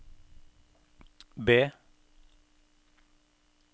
B